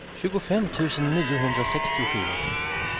tjugofem tusen niohundrasextiofyra